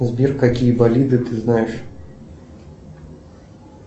сбер какие болиды ты знаешь